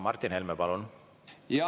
Martin Helme, palun!